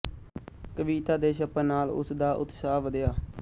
ਕਵਿਤਾ ਦੇ ਛਪਣ ਨਾਲ਼ ਉਸ ਦਾ ਉਤਸ਼ਾਹ ਵਧਿਆ